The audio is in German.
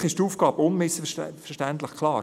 Eigentlich ist die Aufgabe unmissverständlich klar: